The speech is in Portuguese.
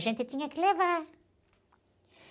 A gente tinha que levar.